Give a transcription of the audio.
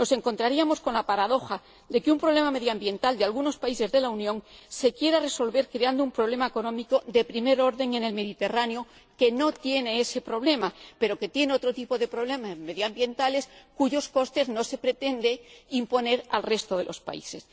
Nos encontraríamos con la paradoja de que un problema medioambiental de algunos países de la Unión se quiera resolver creando un problema económico de primer orden en el Mediterráneo, que no tiene ese problema medioambiental, pero que tiene otro tipo de problemas medioambientales cuyos costes no se pretende imponer al resto de los países.